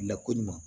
Lakoɲuman